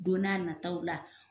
Don n'a nataw la